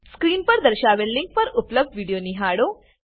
screen પર દર્શાવેલ link પર ઉપલબ્ધ વિડીયો નિહાળો